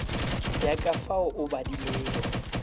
ya ka fao o badilego